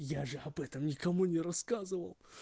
я же об этом никому не рассказывал